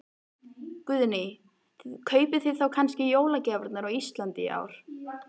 Guðný: Kaupið þið þá kannski jólagjafirnar á Íslandi í ár?